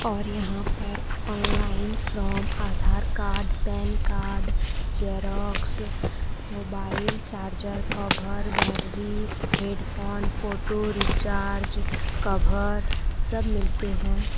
और यहां पर online from Aadhaar card PAN card Xerox mobile charger cover battery headphone photo recharge cover सब मिलते हैं।